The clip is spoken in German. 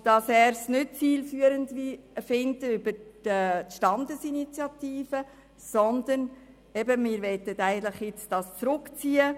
Den Weg über die Standesinitiative erachtet der Regierungsrat hingegen als nicht zielführend.